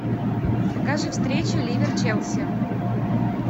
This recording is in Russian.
покажи встречу ливер челси